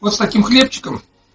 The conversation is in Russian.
но с таки хлевчиком